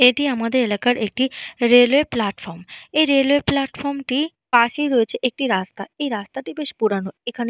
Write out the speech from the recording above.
এটি আমাদের এলাকার একটি রেলওয়ে প্লাটফর্ম । এই রেলওয়ে প্লাটফর্ম টির পাশেই রয়েছে একটি রাস্তা। এই রাস্তাটি বেশ পুরানো। এখানে।